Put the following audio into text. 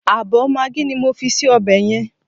Ààbọ̀ magí ni mo fi sí ọbẹ̀ yẹn.